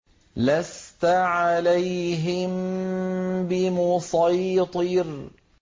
لَّسْتَ عَلَيْهِم بِمُصَيْطِرٍ